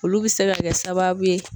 Olu bɛ se ka kɛ sababu ye.